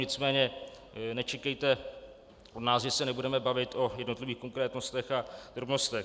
Nicméně nečekejte od nás, že se nebudeme bavit o jednotlivých konkrétnostech a drobnostech.